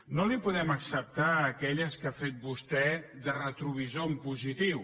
no li podem acceptar aquelles que ha fet vostè de retrovisor en positiu